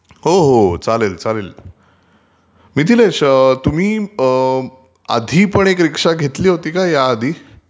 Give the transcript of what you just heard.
हो हो चालेल चालेल....मिथिलेश तुम्ही आधीपण रीक्षा घेतली होती का या आधी ?